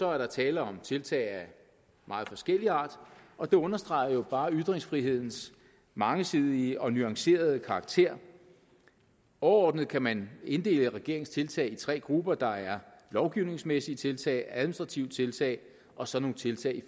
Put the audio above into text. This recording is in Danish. er der tale om tiltag af meget forskellig art og det understreger jo bare ytringsfrihedens mangesidige og nuancerede karakter overordnet kan man inddele regeringens tiltag i tre grupper der er lovgivningsmæssige tiltag administrative tiltag og så nogle tiltag i